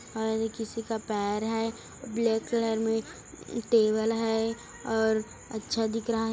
और ये किसी का पैर है ब्लैक कलर में टेबल है और अच्छा दिख रहा है।